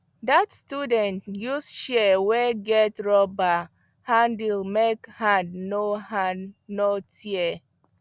that student use shears wey get rubber handle make hand no hand no tire